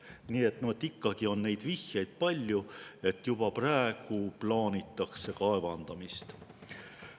Nii et ikkagi on palju vihjeid, et juba praegu plaanitakse kaevandamist.